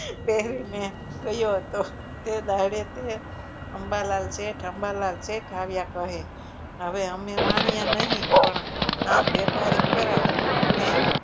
પહેરીને ગયો હતો તે દાડે તે અંબાલાલ શેઠ અંબાલાલ શેઠ આવ્યા કહે હવે અમે વાણીયા નહીં પણ આમ વેપારી ખરા ને